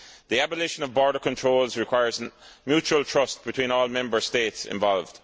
The abolition of border controls requires mutual trust between all Member States involved.